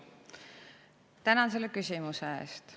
Tänan selle küsimuse eest.